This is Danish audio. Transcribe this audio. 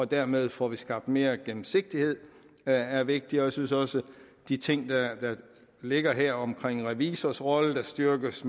dermed får skabt mere gennemsigtighed er er vigtigt og jeg synes også at de ting der ligger her altså om revisors rolle der styrkes